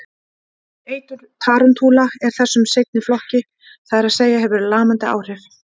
Eitur tarantúla er þessum seinni flokki, það er að segja hefur lamandi áhrif.